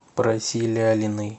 проси лялиной